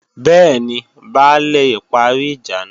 Bẹ́ẹ̀ni, Baálè parí ìjà náà lálẹ́ àná